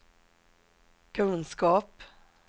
kunskap